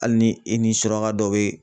Hali ni i suraka dɔ be